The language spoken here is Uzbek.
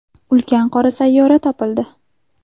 Ulkan qora sayyora topildi.